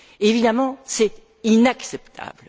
Évidemment, c'est inacceptable.